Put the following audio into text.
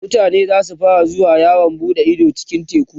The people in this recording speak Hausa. mutane zasu fara zuwa yawon buɗe Ido a cikin teku